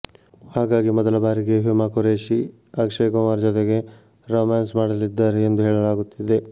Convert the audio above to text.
ಹಾಗಾಗಿ ಮೊದಲ ಬಾರಿಗೆ ಹ್ಯೂಮಾ ಖುರೇಷಿ ಅಕ್ಷಯ್ ಕುಮಾರ್ ಜತೆಗೆ ರೋಮ್ಯಾನ್ಸ್ ಮಾಡಲಿದ್ದಾರೆ ಎಂದು ಹೇಳಲಾಗುತ್ತಿದೆ